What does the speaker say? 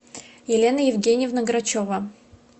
елена евгеньевна грачева